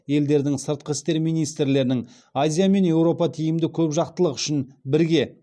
елдердің сыртқы істер министрлерінің азия мен еуропа тиімді көпжақтылық үшін бірге